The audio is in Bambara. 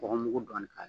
Bɔgɔmugu dɔɔnin k'a la